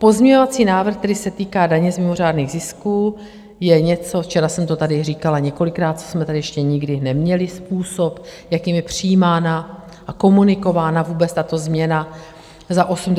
Pozměňovací návrh, který se týká daně z mimořádných zisků, je něco, včera jsem to tady říkala několikrát, co jsme tady ještě nikdy neměli - způsob, jakým je přijímána a komunikována vůbec tato změna za 85 miliard.